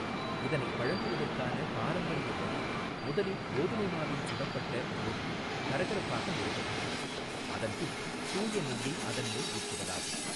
இதனை வழங்குவதற்கான பாரம்பரிய வழி முதலில் கோதுமை மாவில் சுடப்பட்ட ரொட்டி கரப்பாக நொறுக்கப்படுகிறது, அதன் பின் தூய நெய்யை அதன் மேல் ஊற்றுவதாகும்.